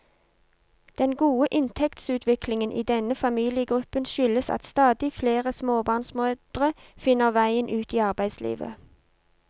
Den gode inntektsutviklingen i denne familiegruppen skyldes at stadig flere småbarnsmødre finner veien ut i arbeidslivet.